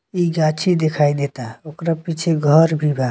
ई गांछी दिखाई देता ओकरा पीछे घर भी बा।